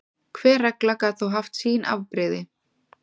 Hver regla gat þó haft sín afbrigði.